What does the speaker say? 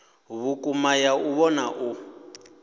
vhukuma ya u vhona u